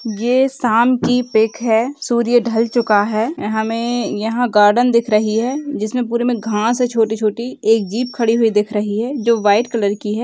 ये साम की पिक है सूर्य ढल चुका है अअ हमे यहाँ गार्डन दिख रही है जिसमे पूरे मे घास हे छोटी-छोटी एक जीप खड़ी हुई दिख रही है जो व्हाइट कलर की है।